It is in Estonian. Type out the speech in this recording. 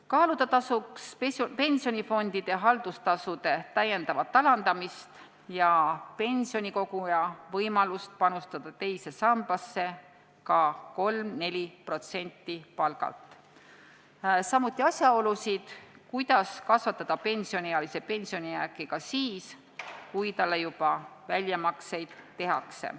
Kaaluda tasuks pensionifondide haldustasude vähendamist ja pensionikoguja võimalust panustada teise sambasse ka 3–4% palgast, samuti asjaolusid, kuidas kasvatada pensioniealise pensionijääki ka siis, kui talle väljamakseid juba tehakse.